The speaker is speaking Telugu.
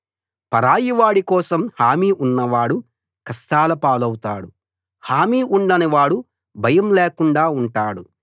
పరాయివాడి కోసం హామీ ఉన్నవాడు కష్టాలపాలవుతాడు హామీ ఉండని వాడు భయం లేకుండా ఉంటాడు